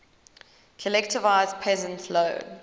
collectivized peasants low